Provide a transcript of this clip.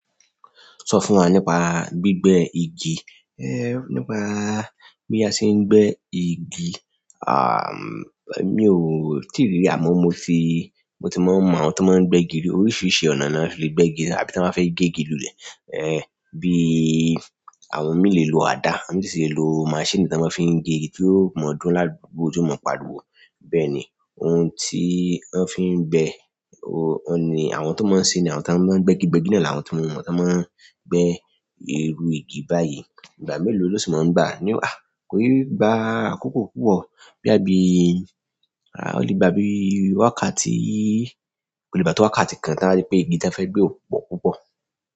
Sọ fún wa nípa gbígbẹ́ igi. Ẹ̀, nípa bí a ṣe ń gbẹ́ igi, àm, mi ò tí rí rí, àmọ́ mo ti, mo ti mọ àwọn tó máa ń gbẹ́ igi, oríṣiríṣi ọ̀nà ni wọ́n fi lè gbẹ́ igi àbí tí wọ́n bá fẹ́ gé igi lulẹ̀. Ẹ̀, bí i àwọn mí lè lo àdá, àwọ́n si lè lo maṣíìnì tí wọ́n máa ń fi gé igi tí ó mọ́ dúró láti gbó tí ó mọ́ pa wò. Bẹ́ẹ̀ ni, ohun tí wọ́n fi ń bẹ, o-ọ́n ni àwọn tó máa ń ṣe ni, àwọn tó máa ń gbẹ́ igi gbígbẹ́ náà làwọn tó mọ̀, tí wọ́n máa ń gbẹ́ irú igi báyìí. Ìgbà mélòó ló ti máa ń gbà? Ni, àì, kòi gbà àkoko púpọ̀, boyà bí, o lè gba bí i wákàtí, kò lè gba tó wákàtí kan tí a bá rí pé igi tí a fẹ́ gbẹ́ ò pọ̀ púpọ̀.